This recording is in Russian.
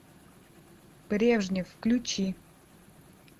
брежнев включи